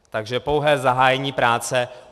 Takže pouhé zahájení práce.